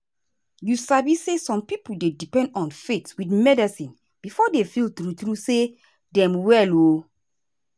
you sabi say some pipo dey depend on faith with medicine before dem feel true true say dem well. um